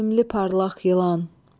Sevimli parlaq yılan!